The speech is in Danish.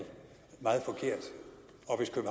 meget forkert